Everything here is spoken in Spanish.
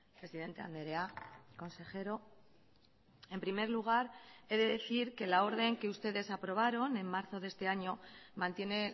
presidente andrea consejero en primer lugar he de decir que la orden que ustedes aprobaron en marzo de este año mantiene